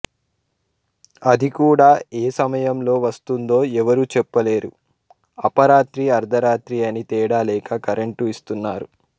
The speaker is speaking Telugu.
అది కూడా ఏ సమయంలో వస్తుందో ఎవరు చెప్పలేరు అపరాత్రి అర్థరాత్రి అని తేడాలేక కరెంటు ఇస్తున్నారు